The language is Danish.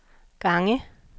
gange